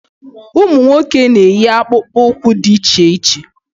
Ụmụ nwoke na-eyi akpụkpụụkwụ dị iche iche